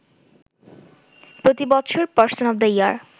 প্রতিবছর person of the year